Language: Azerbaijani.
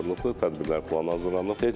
Tədbirlər planı hazırlanıb.